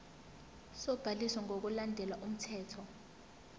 sobhaliso ngokulandela umthetho